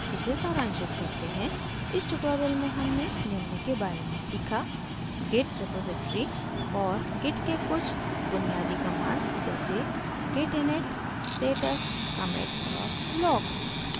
इसे सारांशित करते हैं इस tutorial में हमने निम्न के बारे में सीखा: git repository और git के कुछ बुनियादी कमांड्स जैसे git init status commit और log